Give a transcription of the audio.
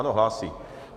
Ano, hlásí.